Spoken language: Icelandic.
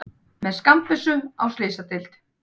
Með skammbyssu á slysadeild